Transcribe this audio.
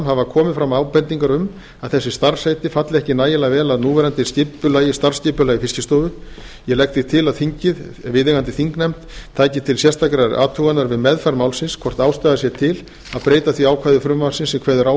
hafa komið fram ábendingar um að þessi starfsheiti falli ekki nægilega vel að núverandi starfsskipulagi fiskistofu ég legg því til að þingið taki til sérstakrar athugunar við meðferð málsins hvort ástæða sé til að breyta því ákvæði frumvarpsins sem kveður á